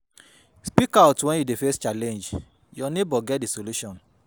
Speak out when you dey face challenge, your neighbour get di solution